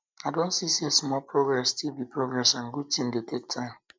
i don see say small progress still be progress and good thing dey take time